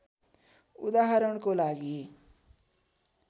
उदाहरणको लागि